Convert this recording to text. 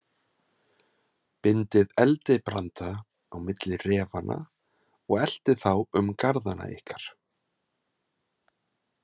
Bindið eldibranda á milli refanna og eltið þá um garðana ykkar.